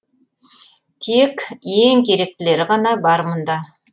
тек ең керектілері ғана бар мұнда